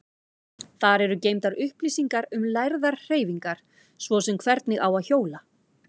Þar eru geymdar upplýsingar um lærðar hreyfingar, svo sem hvernig á að hjóla.